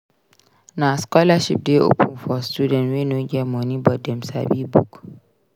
Na scholarship dey open door for students wey no get moni but dem sabi book.